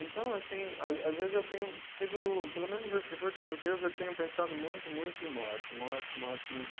Então, assim, às às vezes eu tenho sido, pelo menos esses últimos dias, eu tenho pensado muito, muito em morte, morte, morte, muito.